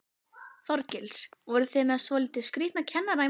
Þorgils: Voru þið með svolítið skrítna kennara í morgun?